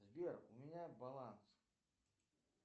сбер у меня баланс